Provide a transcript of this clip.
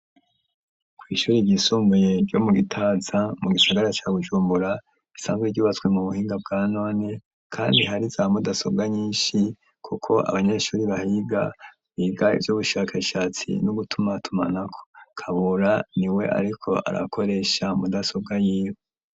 Kw'ishuri ryisumbuye ryo mu Gitaza mu gisagara ca Bujumbura isanzwe ryubatswe mu buhinga bwa none kandi hari za mudasobwa nyishi kuko abanyeshuri bahiga biga ivyubushakashatsi no gutuma tumanako Kabura niwe ariko arakoresha mudasobwa yiwe